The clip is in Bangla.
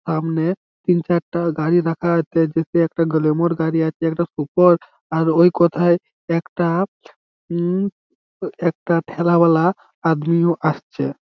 আমনে তিন-চারটা গাড়ি রাখা আথে যিথে একটা গাড়ি আছে একটা সুপার আর ওই কোথায় একটা উম একটা্ত ঠেলা বালা আদমি ও আসছে।